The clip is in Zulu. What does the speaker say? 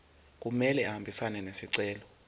kumele ahambisane nesicelo